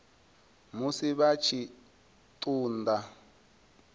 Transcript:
musi vha tshi ṱun ḓa